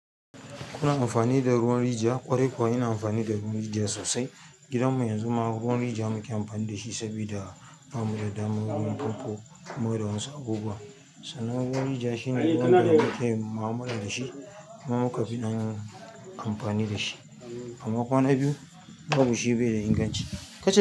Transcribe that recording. Kuna amfani da ruwan rijiya? Ƙwarai kuwa, ina amfani da ruwan rijiya sosai. Gidanmu yanzu ma ruwan rijiya muke amfani da shi saboda ba mu da damar ruwan famfo. Mu da wasu abubuwa. Sannan ruwan rijiya shine ruwan da muke yin mu'amala da shi. Kuma muka fi ɗan amfani da shi. Amma kwana biyu, babu shi bai da inganci.